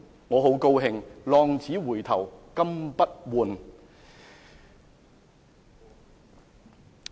我很高興，"浪子回頭金不換"。